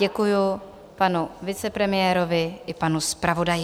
Děkuji panu vicepremiérovi i panu zpravodaji.